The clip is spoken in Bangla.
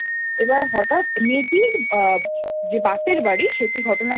এবার হঠাৎ মেয়েটির যে বাপের বাড়ি সেটি ঘটনাক্রমে দেখা